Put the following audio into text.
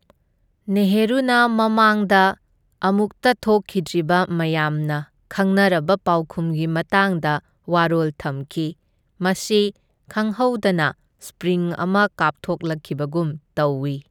ꯅꯦꯍꯔꯨꯅ ꯃꯃꯥꯡꯗ ꯑꯃꯨꯛꯇ ꯊꯣꯛꯈꯤꯗ꯭ꯔꯤꯕ ꯃꯌꯥꯝꯅ ꯈꯪꯅꯔꯕ ꯄꯥꯎꯈꯨꯝꯒꯤ ꯃꯇꯥꯡꯗ ꯋꯥꯔꯣꯜ ꯊꯝꯈꯤ, ꯃꯁꯤ ꯈꯪꯍꯧꯗꯅ ꯁꯄ꯭ꯔꯤꯡ ꯑꯃ ꯀꯥꯞꯊꯣꯛꯂꯛꯈꯤꯕꯒꯨꯝ ꯇꯧꯢ꯫